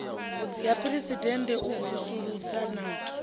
ya phuresidennde u vusuludza na